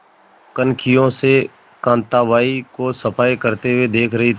कनखियों से कांताबाई को सफाई करते हुए देख रही थी